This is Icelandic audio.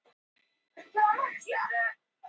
Fasteign verði leyst upp